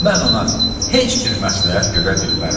Mən ona heç bir məsləhət görə bilmərəm.